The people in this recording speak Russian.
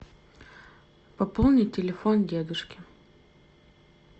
пополнить телефон дедушки